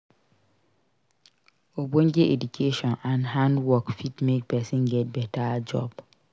Ogbonge education and hand work fit make persin get better job